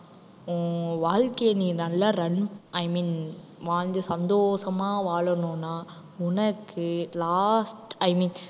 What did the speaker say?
உன் வாழ்க்கைய நீ நல்லா run i mean வாழ்ந்து சந்தோஷமா வாழணும்னா, உனக்கு last i mean